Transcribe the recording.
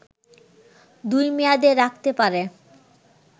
দুই মেয়াদে রাখতে পারে